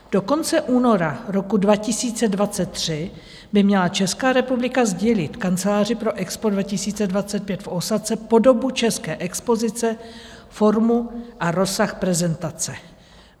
Do konce února roku 2023 by měla Česká republika sdělit Kanceláři pro EXPO 2025 v Ósace podobu české expozice, formu a rozsah prezentace.